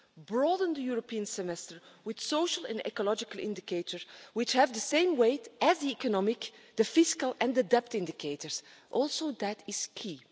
Broadening the European semester with social and ecological indicators which have the same weight as the economic, the fiscal and the debt indicators that is also key.